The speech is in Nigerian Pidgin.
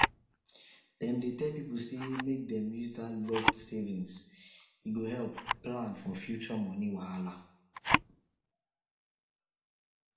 dem dey tell people say make dem use that locked savings e go help plan for future money wahala